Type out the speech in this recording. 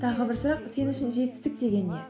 тағы бір сұрақ сен үшін жетістік деген не